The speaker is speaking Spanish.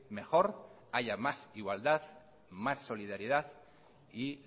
mejor haya más igualdad más solidaridad y